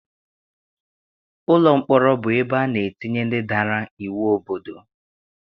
Ụlọ mkpọrọ bụ ebe ana etinye ndị dara iwu obodo.